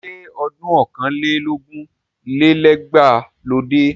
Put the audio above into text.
Ṣé ọdún ọ̀kàn lé lógún lé lẹ́gbàá ló dé?